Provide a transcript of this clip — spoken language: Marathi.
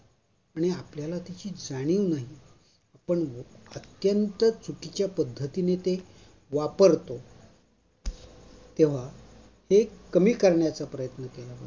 आणि आपल्याला त्याची जाणीवही नाही. पण अत्यंत चुकीच्या पद्धतीने ते वापरतो, तेव्हा ते कमी करण्याचा प्रयत्न